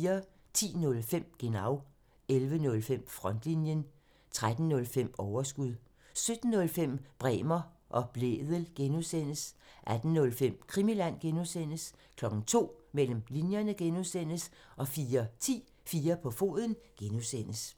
10:05: Genau (tir) 11:05: Frontlinjen (tir) 13:05: Overskud (tir) 17:05: Bremer og Blædel (G) (tir) 18:05: Krimiland (G) (tir) 02:00: Mellem linjerne (G) (tir) 04:10: 4 på foden (G) (tir)